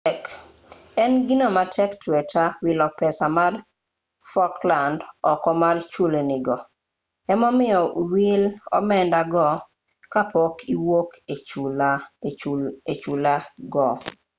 en gino matek tweta wilo pesa mar falkland oko mar chulni go emomiyo wil omenda go ka pok iwuok e chulni go